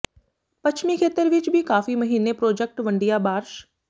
ਪੱਛਮੀ ਖੇਤਰ ਵਿਚ ਵੀ ਕਾਫ਼ੀ ਮਹੀਨੇ ਪ੍ਰੋਜਕਟ ਵੰਡਿਆ ਬਾਰਸ਼